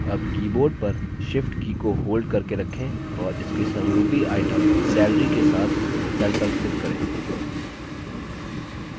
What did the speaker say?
अब keyboard पर shift की को hold करके रखें और इसके समरूपी item salary के साथ cell पर click करें